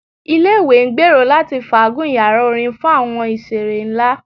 Ile-iwe ngbero lati faagun yara orin fun awọn iṣere nla